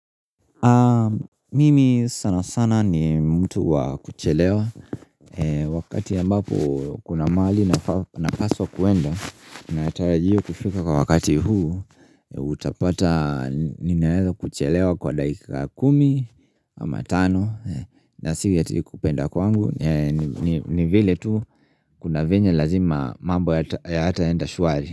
Mimi sana sana ni mtu wa kuchelewa wakati ambapo kuna mahali napaswa kuenda natarajiwa kufika kwa wakati huu utapata ninaweza kuchelewa kwa dakika kumi ama tano na sio eti nikupenda kwangu ni vile tu kuna venye lazima mambo ya hayataenda shwari.